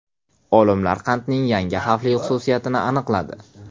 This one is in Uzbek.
Olimlar qandning yangi xavfli xususiyatini aniqladi.